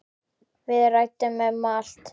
Við ræddum um allt.